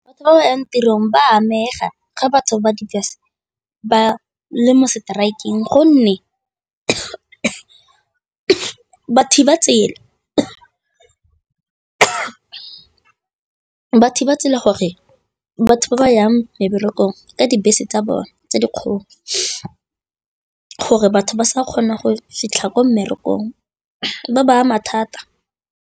Batho ba ba yang tirong ba amega ga batho ba di ba le mo strike-eng gonne ba thiba tsela gore batho ba ba yang meberekong ka dibese tsa bone tse dikgolo, gore batho ba sa kgona go fitlha ko mmerekong, di ba ama thata.